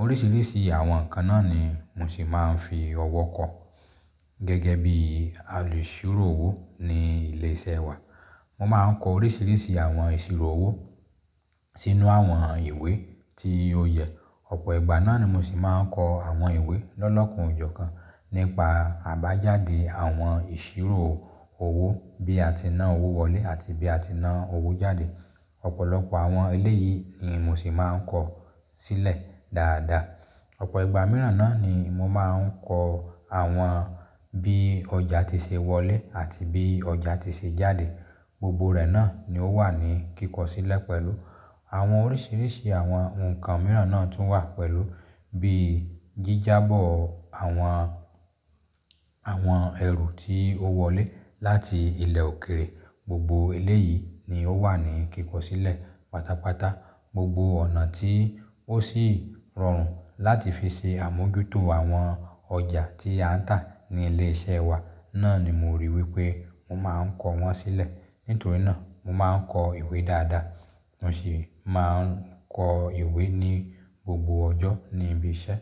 Oríṣìíríṣìí àwọn ǹkan náà ni mo sì máa ń fi ọwọ́ kọ. Gẹ́gẹ́ bíi alùṣírò owó ní ilé iṣẹ́ wa, mo máa ń kọ oríṣìíríṣìí àwọn ìṣirò owó sínú àwọn ìwé tí ó yẹ. Ọ̀pọ̀ ìgbà náà ni mo sì máa ń kọ àwọn ìwé lọ́lọ́kan ò jọ̀kan nípa àbájáde àwọn ìṣírò owó bí a ti ná owó wọlé àti bí a ti ná owó jáde. Ọ̀pọ̀lọpọ̀ àwọn eléyìí ni mo sì máa ń kọ sílẹ̀ dáadáa. Ọ̀pọ̀ ìgbà mìíràn náà ni mo máa ń kọ àwọn bí ọjà ti ṣe wọlé àti bí ọjà ti ṣe jáde. Gbogbo rẹ̀ náà ni ó wà ní kíkọ sílẹ̀ pẹ̀lú àwọn oríṣìíríṣìí àwọn nǹkan mìíràn náà tún wà pẹ̀lú bíi jíjábọ̀ọ àwọn, àwọn ẹ̀rù tí ó wọlé láti ilẹ̀ òkèèrè. Gbogbo eléyìí ni ó wà ní kíkọ sílẹ̀. Pátápátá, gbogbo ọ̀nà tí ó sì rọrùn láti fi ṣe àmójútó àwọn ọjà tí a ń tà ní ilé iṣẹ́ wa náà ni mo ríi wí pé mo máa ń kọ́ wọ́n sílẹ̀. Nítorí náà, mo máa ń kọ ìwé dáadáa, mo sì máa ń kọ ìwé ní gbogbo ọjọ́ ní ibi iṣẹ́.